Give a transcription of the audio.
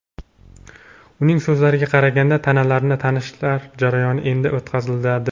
Uning so‘zlariga qaraganda, tanalarni tanish jarayoni endi o‘tkaziladi.